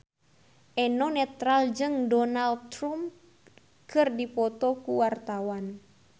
Eno Netral jeung Donald Trump keur dipoto ku wartawan